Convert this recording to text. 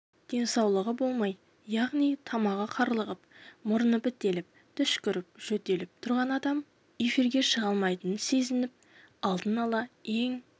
денсаулығы болмай яғни тамағы қарлығып мұрны бітеліп түшкіріп-жөтеліп тұрған адам эфирге шыға алмайтынын сезіп алдын-ала ең